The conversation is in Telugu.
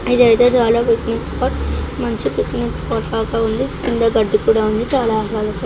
ఇదైతే చాలా పిక్నిక్ స్పాట్ . మంచి పిక్నిక్ స్పాట్ లాగా ఉంది. కింద గడ్డి కూడా ఉంది. చాలా ఆహ్లాదకరంగా--